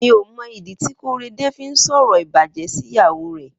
Mi ó mọ idi ti Korede fi n sọrọ ibàjẹ̀ si ìyáwó rẹ